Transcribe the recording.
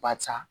Barisa